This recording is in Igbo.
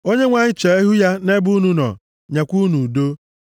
Onyenwe anyị chee ihu ya nʼebe unu nọ, nyekwa unu udo.” ’